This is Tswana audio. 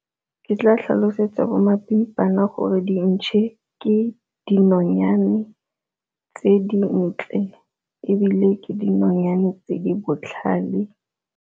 Ke tla tlhalosetsa bo mapimpana gore dintšhe ke dinonyane tse dintle, ebile ke dinonyane tse di botlhale.